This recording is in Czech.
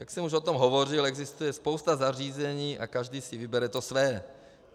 Jak jsem už o tom hovořil, existuje spousta zařízení a každý si vybere to své.